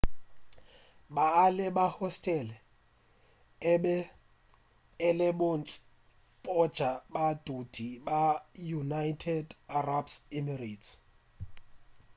baeng ba hostele e be e le bontši bja badudi ba united arab emirates